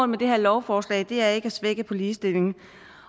med det her lovforslag er ikke at svække ligestillingen